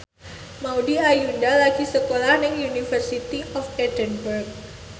Maudy Ayunda lagi sekolah nang University of Edinburgh